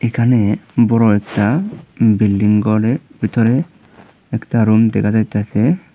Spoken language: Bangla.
এখানে বড় একটা বিল্ডিং ঘরের ভিতরে একটা রুম দেখা যাইতাসে।